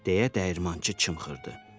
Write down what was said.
deyə dəyirmançı çımxırdı.